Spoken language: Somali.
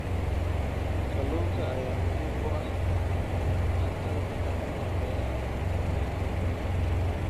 Kalluunka ayaa muhiim u ah cuntada dadka ku nool meelaha fogfog.